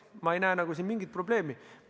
Ma ei näe siin mingit probleemi.